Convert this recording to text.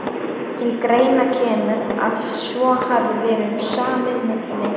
Til greina kemur, að svo hafi verið um samið milli